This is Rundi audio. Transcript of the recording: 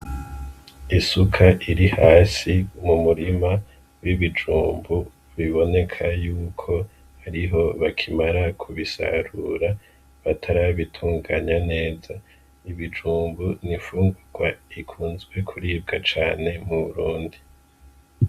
Isuka iri hasi mu murima w'ibijumbu biboneka yuko ariho bakimara kubisarura batarabitunganya neza ibijumbu nifungurwa ikunzwe kuribwa cane mu burundi.